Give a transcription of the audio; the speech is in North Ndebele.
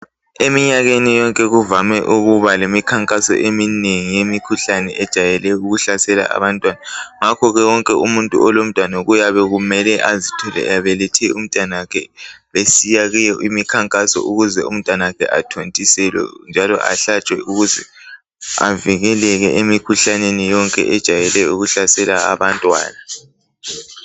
eminyakeni yonke kuvame ukuba lemikhankaso eminengi eyemikhuhlane ejayele ukuhlasela abantwana ngakho ke wonke umuntu olomntwana kuyabe kumele azithole ebelethe umntanakhe besiya kuyo imikhankaso ukuze umntanakhe athole ukuthontiselwa njalo ahlatshwe ukuze avikeleke emikhuhlaneni yonke ejayele ukuhlasela abantwana